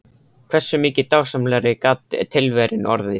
Hversu mikið dásamlegri gat tilveran orðið?